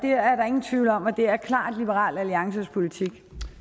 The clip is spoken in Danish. er der ingen tvivl om og det er klart liberal alliances politik